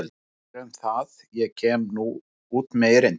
En hvað um það og kem ég nú út með erindið.